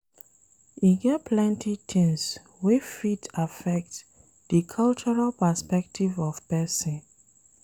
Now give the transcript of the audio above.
E get plenty things wey fit affect di cultural perspective of person